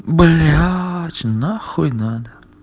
блять нахуй надо